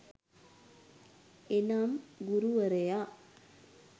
එනම් ගුරුවරයා